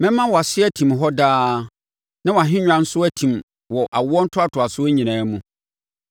‘Mɛma wʼase atim hɔ daa na wʼahennwa nso atim wɔ awoɔ ntoantoasoɔ nyinaa mu.’ ”